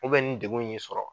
ni degun y'i sɔrɔ